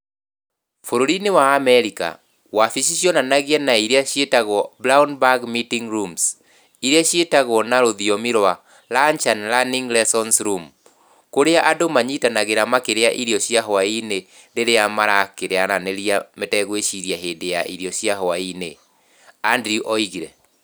" Bũrũri-inĩ wa Amerika, wabici cionanagia na iria ciĩtagwo "brown bag meeting rooms", iria ciĩtagwo na rũthiomi rwa "lunch and learning lessons rooms", kũrĩa andũ manyitanagĩra makĩrĩa irio cia hwaĩ-inĩ rĩrĩa marakĩaranĩria mategwĩciria hĩndĩ ya irio cia hwaĩ-inĩ", Andrew oigire.